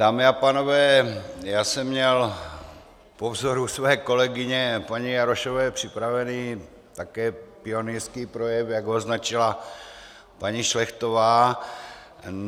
Dámy a pánové, já jsem měl po vzoru své kolegyně paní Jarošové připravený také pionýrský projev, jak to označila paní Šlechtová.